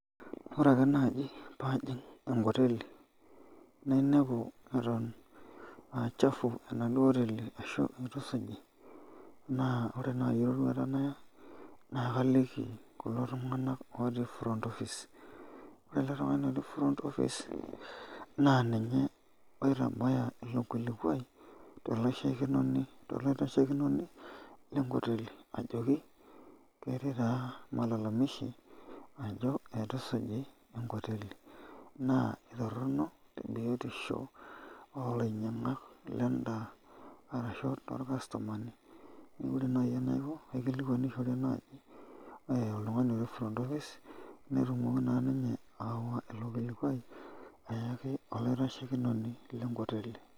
Ore ake naaji paajing enkoteli nainepu atan achafu enaduo oteli ashu itusuji na ore nai eroruata naya nakaliki kulo tunganak otii front office ore eletungani otii front office na ninye oitabaya ilo kilikuai tolaitashekinoni lenkoteli ajoki ketii taa malalamishi ajo ituisuji enkoteli na ina biotisho lendaa arashu tor customani kake pooki naikokaikilikuanishore oltungani otii front office netumoki ninye ayawa ilobkilikuai ayaki olaitashekinoni lenkoteli.